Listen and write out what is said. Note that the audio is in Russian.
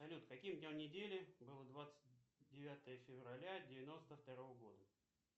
салют каким днем недели было двадцать девятое февраля девяносто второго года